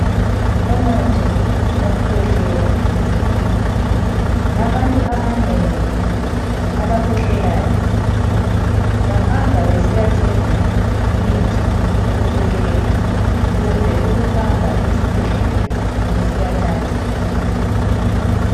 Umuthi wokukhwehlela. Abantu abanengi abakhwehlelayo bahamba besiyathenga imuthi wokukhwehlela. Kumbe ukuhamba esibhedlela besiyathatha.